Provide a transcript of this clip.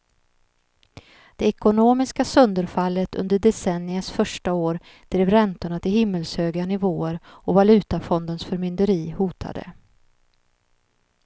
Det ekonomiska sönderfallet under decenniets första år drev räntorna till himmelshöga nivåer och valutafondens förmynderi hotade.